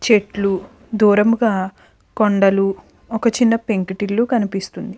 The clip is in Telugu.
చెట్లు దూరంగా కొండలు ఒక చిన్నపెంకుటిల్లు కనిపిస్తుంది.